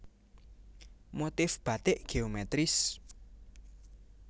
Motif Batik Geometris